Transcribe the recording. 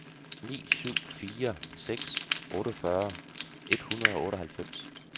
ni syv fire seks otteogfyrre et hundrede og otteoghalvfems